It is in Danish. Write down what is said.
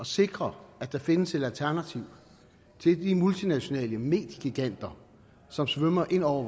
sikre at der findes et alternativ til de multinationale mediegiganter som svømmer ind over